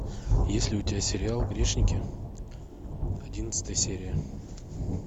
есть ли у тебя сериал грешники одиннадцатая серия